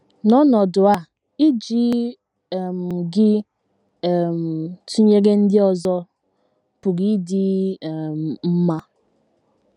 N’ọnọdụ a, iji um gị um tụnyere ndị ọzọ pụrụ ịdị um mma.